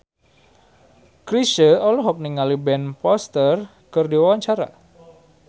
Chrisye olohok ningali Ben Foster keur diwawancara